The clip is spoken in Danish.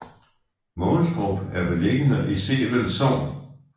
Mogenstrup er beliggende i Sevel Sogn